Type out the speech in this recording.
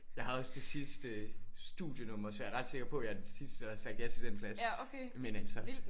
Ja jeg havde også det sidste studienummer så jeg er ret sikker på at jeg er den sidste der havde sagt ja til den plads men altså